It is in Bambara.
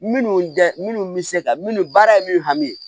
Minnu tɛ minnu bɛ se ka minnu baara ye min hami ye